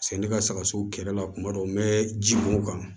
ne ka sagasow kɛrɛ la tuma dɔw n bɛ ji bɔn o kan